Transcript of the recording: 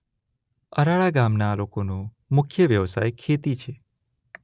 અરાળા ગામના લોકોનો મુખ્ય વ્યવસાય ખેતી છે.